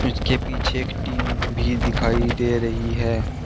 इसके पीछे एक टीन भी दिखाई दे रही है।